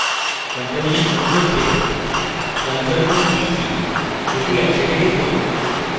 compilation শুরু করতে ctrl এবং t কীদুটি একসঙ্গে চাপুন